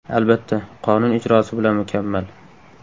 Albatta, qonun ijrosi bilan mukammal.